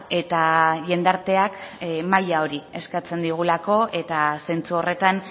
eta jendarteak maila hori eskertzen digulako eta zentzu horretan